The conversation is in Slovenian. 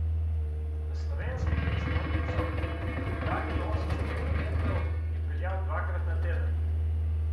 V slovensko prestolnico, oddaljeno osemsto kilometrov, je peljal dvakrat na teden.